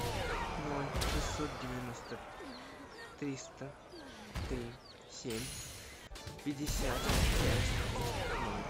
ноль шестьсот девяносто триста три семь пятьдесят пять шесть ноль